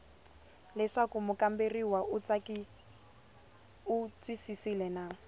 leswaku mukamberiwa u twisisile na